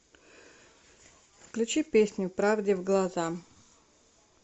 включи песню правде в глаза